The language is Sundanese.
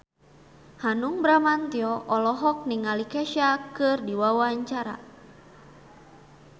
Hanung Bramantyo olohok ningali Kesha keur diwawancara